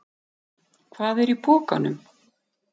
Hvað er í pokanum?